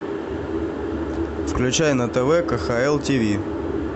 включай на тв кхл тиви